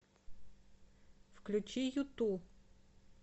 включи юту